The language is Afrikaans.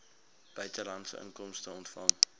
buitelandse inkomste ontvang